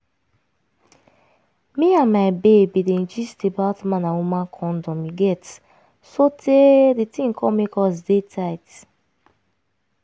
me and my babe been dey gist about man and woman condom you get sotey di tin come make us dey tight